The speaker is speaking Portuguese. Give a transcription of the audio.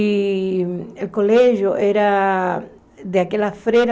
E o colégio era daquela freira,